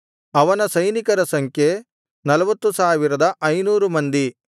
ಅವನ ಸೈನಿಕರ ಸಂಖ್ಯೆ 40500 ಮಂದಿ